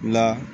La